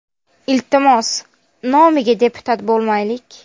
Iltimos, nomiga deputat bo‘lmaylik.